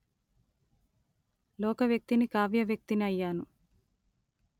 లోకవ్యక్తిని కావ్యవ్యక్తిని అయ్యాను